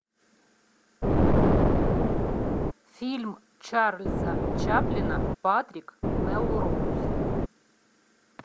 фильм чарльза чаплина патрик мелроуз